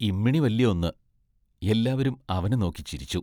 ഇമ്മിണി വല്യ ഒന്ന് എല്ലാവരും അവനെ നോക്കി ചിരിച്ചു.